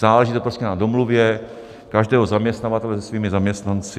Záleží to prostě na domluvě každého zaměstnavatele s jeho zaměstnanci.